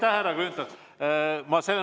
Aitäh, härra Grünthal!